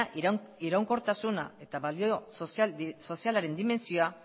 iraunkortasuna eta balio sozialaren dimentsioa